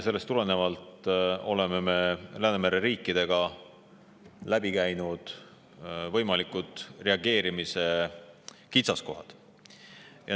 Sellest tulenevalt oleme me Läänemere riikidega läbi käinud võimalikud reageerimise kitsaskohad.